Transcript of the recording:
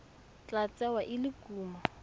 tla tsewa e le kumo